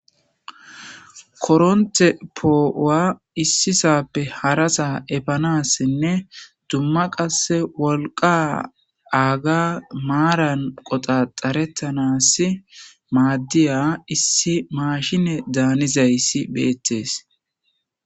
koronte poo'uwa issisappe harasa efanassenne dumma qasse wolqa aaga maaran qoxa xarettanas maaddiya issi mashine daanizayssi beettes